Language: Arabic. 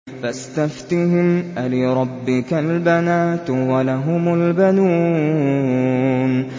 فَاسْتَفْتِهِمْ أَلِرَبِّكَ الْبَنَاتُ وَلَهُمُ الْبَنُونَ